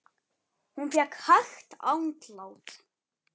Hún fékk hægt andlát.